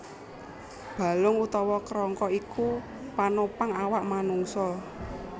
Balung utawa kerangka iku panopang awak manungsa